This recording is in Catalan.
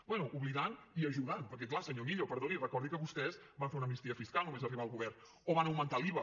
bé oblidant i ajudant perquè clar senyor millo perdoni recordi que vostès van fer una amnistia fiscal només arribar al govern o van augmentar l’iva